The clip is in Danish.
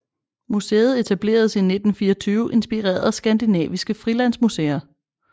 Museet etableredes i 1924 inspireret af skandinaviske frilandsmuseer